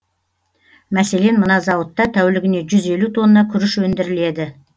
мәселен мына зауытта тәулігіне жүз елу тонна күріш өндіріледі